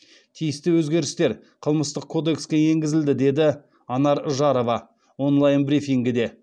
тиісті өзгерістер қылмыстық кодекске енгізілді деді анар жарова онлайн брифингіде